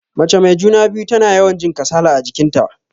Mace mai juna-biyu tana yawan jin kasala a jikin ta.